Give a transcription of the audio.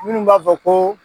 Minnu b'a fɔ ko